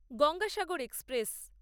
Gangasagar express